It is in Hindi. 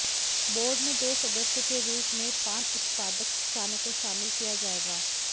बोर्ड में दो सदस्य के रूप में पान उत्पादक किसानों को शामिल किया जायेगा